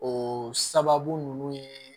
O sababu nunnu ye